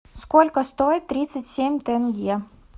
сколько стоит тридцать семь тенге